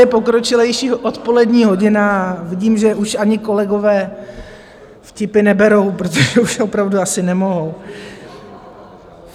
Je pokročilejší odpolední hodina a vidím, že už ani kolegové vtipy neberou, protože už opravdu asi nemohou.